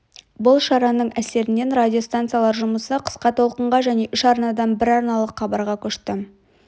бұл шараның әсерінен радиостанциялар жұмысы қысқа толқынға және үш арнадан бір арналық хабарға көшті